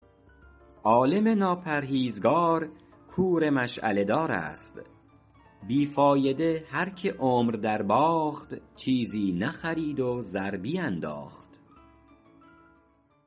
عالم ناپرهیزگار کور مشعله دار است بی فایده هر که عمر در باخت چیزی نخرید و زر بینداخت